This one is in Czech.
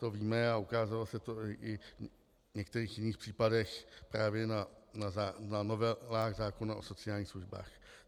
To víme a ukázalo se to i v některých jiných případech právě na novelách zákona o sociálních službách.